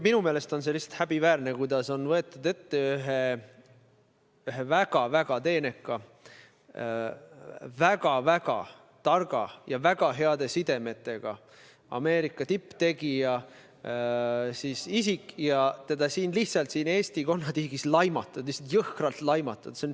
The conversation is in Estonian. Minu meelest on lihtsalt häbiväärne, kuidas on võetud ette üks väga-väga teenekas, väga-väga tark ja väga heade sidemetega Ameerika tipptegija ning teda siin Eesti konnatiigis lihtsalt laimatud, jõhkralt laimatud.